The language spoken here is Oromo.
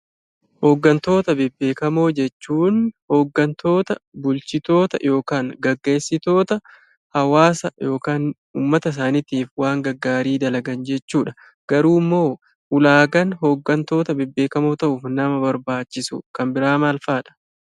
Hoggantoota bebbeekamoo jechuun; hoggantoota, bulchitoota (geggeesitoota) hawaasa ykn uummata isaaniitiif waan gaggaarii dalagan jechuudha. Garuu Immoo ulaagaan hoggantoota bebbeekamoo ta'uuf nama barbaachisu Kan biraa maal fa'adha?